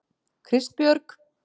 Kristbjörg